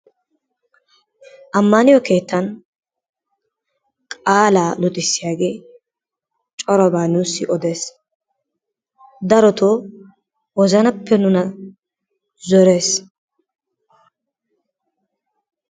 Amaniyoo kettani qalaa luxissiyagee coraabaa nussi oddees, dorto wozannappe nunaa zorees.